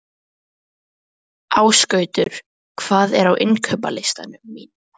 Ásgautur, hvað er á innkaupalistanum mínum?